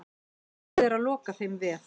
Búið er að loka þeim vef.